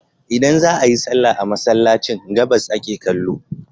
Idan za a yi sallah a Masallacin, gabas ake kallo.